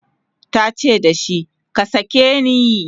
tace da shi"ka sake ni!"